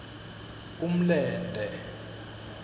umlente